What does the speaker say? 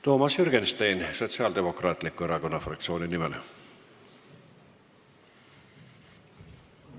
Toomas Jürgenstein Sotsiaaldemokraatliku Erakonna fraktsiooni nimel.